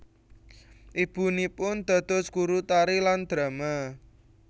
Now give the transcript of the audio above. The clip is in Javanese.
Ibunipun dados guru tari lan drama